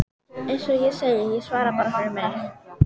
Svo léstu kjarnann úr mér lausan.